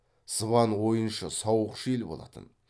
сыбан ойыншы сауықшы ел болатын